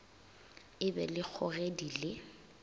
e be le kgogedi le